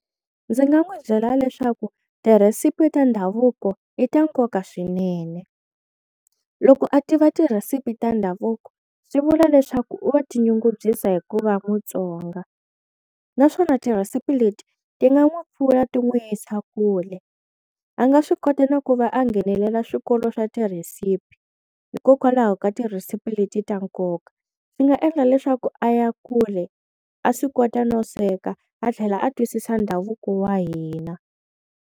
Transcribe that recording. Ndzi nga n'wi byela leswaku ti-recipe ta ndhavuko i ta nkoka swinene loko a tiva ti-recipe ta ndhavuko swi vula leswaku u wa tinyungubyisa hikuva Mutsonga naswona ti-recipe leti ti nga n'wi pfuna ti n'wi yisa kule, a nga swi kota na ku va a nghenelela swikolo swa ti-recipe hikokwalaho ka ti-recipe leti ta nkoka, swi nga endla leswaku a ya kule a swi kota no sweka a tlhela a twisisa ndhavuko wa hina.